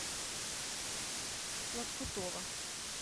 лоскутова